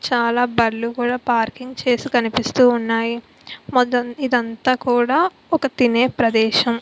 చాలా బండ్లు కూడా పార్కింగ్ చేసి కనిపిస్తూ ఉన్నాయి. ఇదంతా కూడా ఒక తినే ప్రదేశం.